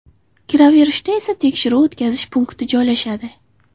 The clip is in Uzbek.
Kiraverishda esa tekshiruv-o‘tkazish punkti joylashadi.